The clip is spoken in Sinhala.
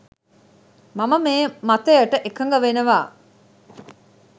මම මේ මතයට එකග වෙනවා.